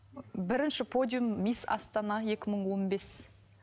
бірінші подиум мисс астана екі мың он бес